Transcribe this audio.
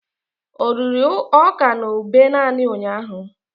O riri ọka na ube naanị ụnyahụ?